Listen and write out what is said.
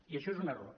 i això és un error